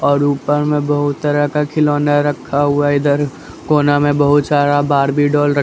और ऊपर में बहुत तरह का खिलौना रखा हुआ है इधर कोना में बहुत सारा बार्बी डोल रख --